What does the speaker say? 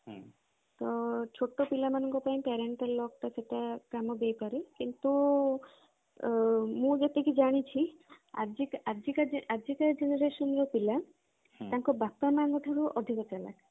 ତ ଛୋଟ ପିଲାମାନଙ୍କ ପାଇଁ parenteral lock ଟା ସେଟା କାମ ଦେଇପାରେ କିନ୍ତୁ ମୁଁ ଯେତିକି ଜାଣିଛି ଆଜିକା ଆଜିକା generation ର ପିଲା ତାଙ୍କ ବାପା ମାଙ୍କ ଠାରୁ ବି ଅଧିକ ଚାଲାଖ